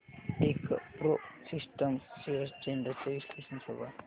Techpro systems shares trends चे विश्लेषण show कर